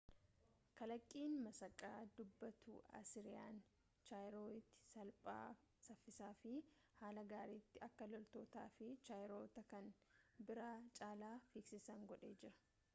kalaqqiin masakaa dubbattuu asiriyaan chaariyooti salphaa saffisaafi haala gaaritti akka loltootaafi chariyoota kan biraa caalaa figsiisan godhee jira